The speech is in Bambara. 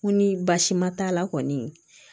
Ko ni baasi ma t'a la kɔni